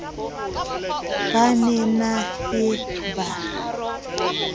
ba ne na ye ba